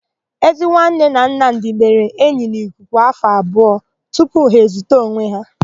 Ezinwanne na Nnamdị mere enyi n'ikuku afọ abụọ tupu ha ezuta onwe ha.